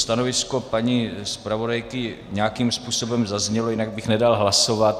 Stanovisko paní zpravodajky nějakým způsobem zaznělo, jinak bych nedal hlasovat.